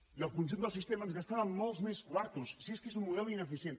i el conjunt del sistema ens gastàvem molts més quartos si és que és un model ineficient